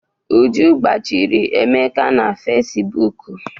Uju gbachiri Emeka na Fesibuuku.